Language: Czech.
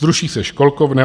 Zruší se školkovné.